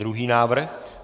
Druhý návrh.